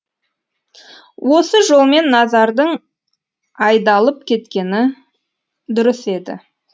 осы жолмен назардың айдалып кеткені дұрыс еді